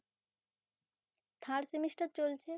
third semester চলছে